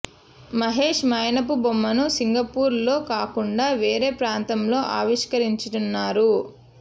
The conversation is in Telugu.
మహేశ్ మైనపు బొమ్మను సింగపూర్ లో కాకుండా వేరే ప్రాంతంలో ఆవిష్కరించనున్నారు